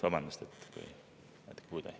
Vabandust!